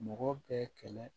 Mɔgɔ bɛɛ kɛlɛ